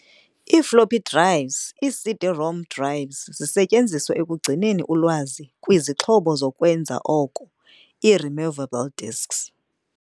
I-Floppy drives, i-CD-ROM drives zisetyenziselwa ukugcina ulwazi kwii-zixhobo zokwenza oko ii-emovable disks.